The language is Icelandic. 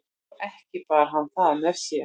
og ekki bar hann það með sér